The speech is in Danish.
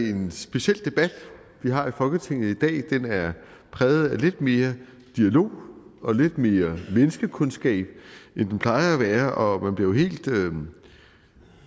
en speciel debat vi har i folketinget i dag for den er præget af lidt mere dialog og lidt mere menneskekundskab end den plejer at være og